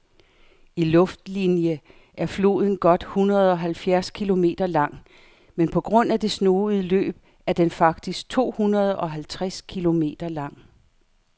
I luftlinie er floden godt hundredeoghalvfjerds kilometer lang, men på grund af det snoede løb er den faktisk tohundredeoghalvtreds kilometer lang.